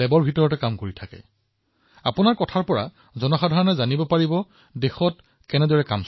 সেয়েহে মই আপোনাক কব বিচাৰো যে যেতিয়া আপুনি এই কথা জনাব দেশবাসীয়েও জানিব পাৰিব যে দেশত কেনেদৰে কাম কৰা হৈছে